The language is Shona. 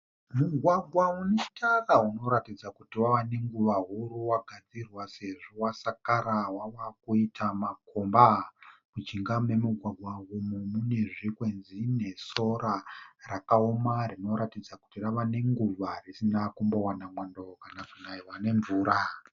Mugwagwa une tara unoratidza kuti wave nenguva huru wagadzirwa, sezvo wasakara wava kuita makomba. Mujinga memugwagwa umu mune zvikwenzi nesora rakaoma rinoratidza kuti rava nenguva risina kumbowana mwando kana kunayiwa nemvura.